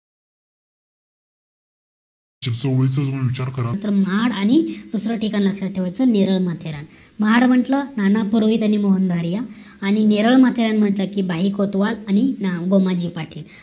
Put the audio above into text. चिपळूण विचार कराल तर महाड आणि दुसर ठिकाण लक्षात ठेवायचं नेरळ माथेरान महाड म्हटलं नाना पूर्वी त्यांनी मोहन धारिया आणि नेरळ म्हंटल कि बाई कोतवाल आणि गोमाजी पाटील